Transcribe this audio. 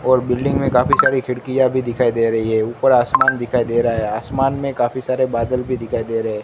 और बिल्डिंग में काफी सारी खिड़कियां भी दिखाई दे रही हैं ऊपर आसमान दिखाई दे रहा है आसमान में काफी सारे बादल भी दिखाई दे रहे--